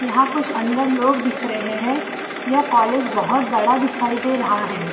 यहाँ कुछ अंदर लोग दिख रहे हैं। यह कॉलेज बहोत बड़ा दिखाई दे रहा है।